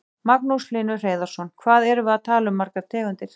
Magnús Hlynur Hreiðarsson: Hvað erum við að tala um margar tegundir?